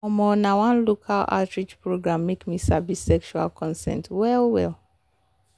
um na one local outreach program make me sabi sexual consent well well